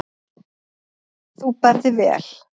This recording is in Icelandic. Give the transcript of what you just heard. Þú berð þig vel.